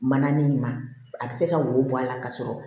Mananin ma a bɛ se ka wo bɔ a la ka sɔrɔ